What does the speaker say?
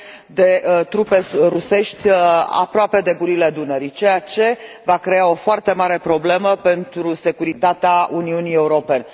parte de trupe rusești aproape de gurile Dunării, ceea ce va crea o foarte mare problemă pentru securitatea Uniunii Europene.